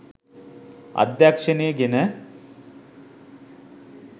අධ්‍යක්ෂණය ගෙන